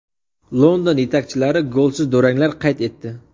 London yetakchilari golsiz duranglar qayd etdi.